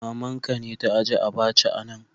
Mama'n ka be ta ijie abacha'n a'nan.